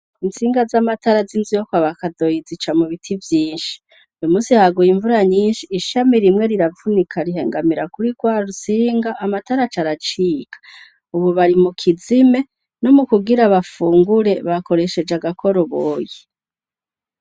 Intsinga z'amatara z'inzu yokwaba kadoyi ziva mu biti vyinshi uyumunsi haguye invura nyinshi ishami rimwe riravunika rihangamira kuri gwarutsinga amatara aca aracika, ubu bari mu kizime no mu kugira bafungura bakoresheje agakoroboyi.